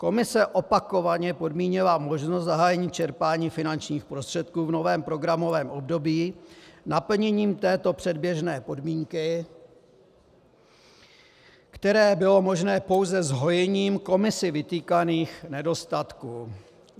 Komise opakovaně podmínila možnost zahájení čerpání finančních prostředků v novém programovém období naplněním této předběžné podmínky, které bylo možné pouze zhojením Komisí vytýkaných nedostatků.